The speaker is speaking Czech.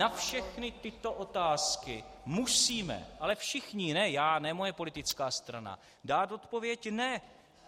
Na všechny tyto otázky musíme - ale všichni, ne já, ne moje politická strana - dát odpověď "Ne!".